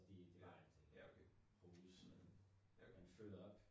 Nej. Ja okay. Ja okay